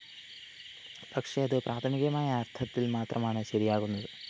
പക്ഷെ അത് പ്രാഥമികമായ അര്‍ത്ഥത്തില്‍ മാത്രമാണ് ശരിയാകുന്നത്